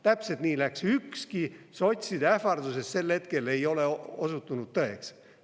Täpselt nii läks, ükski sotside ähvardustest sel hetkel ei ole osutunud tõeks.